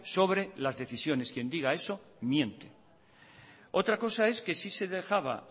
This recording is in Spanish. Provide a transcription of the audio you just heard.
sobre las decisiones quien diga eso miente otra cosa es que sí se dejaba